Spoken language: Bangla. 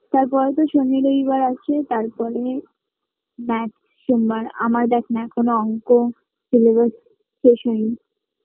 তার পরে তো সনি রই বার আছে তার পরে Math সোমবার আমায় দেক না এখনও অঙ্ক Syllabus শেষ হয়নি